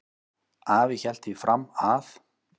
Afi hélt því fram að